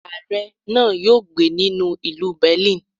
Aare náà yóò gbé ní ìlú Berlin.